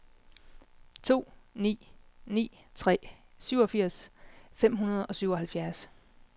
to ni ni tre syvogfirs fem hundrede og syvoghalvfjerds